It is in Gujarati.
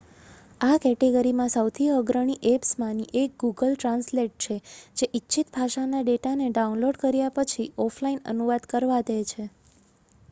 આ કેટેગરીમાં સૌથી અગ્રણી એપ્સમાંની 1 ગૂગલ ટ્રાન્સલેટ છે જે ઇચ્છિત ભાષાના ડેટાને ડાઉનલોડ કર્યા પછી ઓફલાઇન અનુવાદ કરવા દે છે